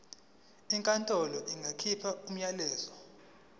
inkantolo ingakhipha umyalelo